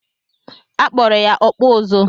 A kpọrọ ya "ọkpụ ụzụ́"